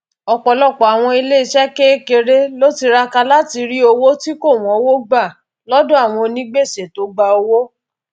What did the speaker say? ọpọlọpọ àwọn iléeṣẹ kéékèèré ló tiraka láti rí owó tí kò wónwó gbà lọdọ àwọn onígbèsè tó gba owó